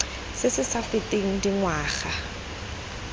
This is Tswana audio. se se sa feteng dingwaga